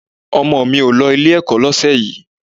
Ọmọ mi ò lọ Ilé-ẹ̀kọ́ lọ́sẹ̀ yìí